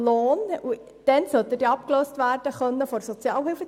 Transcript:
Sie müssen sich vorstellen, dass jemand soundso viel Geld oder Lohn erhält.